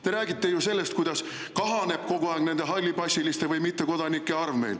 Te räägite sellest, kuidas meil kogu aeg kahaneb nende hallipassiliste või mittekodanike arv.